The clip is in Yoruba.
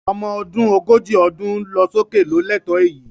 Ọmọ ọdún ogójì ọdún lọ sókè ló lẹ́tọ̀ọ́ èyí